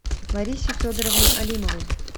ларисе федоровне алимовой